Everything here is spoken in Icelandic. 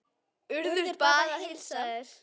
Urður bað að heilsa þér.